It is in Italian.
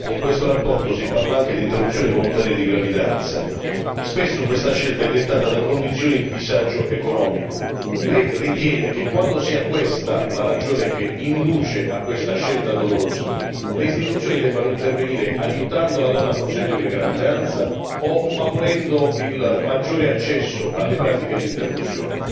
Signor Presidente, cari colleghi, in questa relazione si parla anche di interruzione volontaria di gravidanza, spesso questa scelta è dettata da condizioni di disagio economico. Lei ritiene che quando sia questa la ragione che induce a questa scelta dolorosa, le istituzioni debbano intervenire aiutando la donna a proseguire la gravidanza o favorendo il maggiore accesso alle pratiche di interruzione?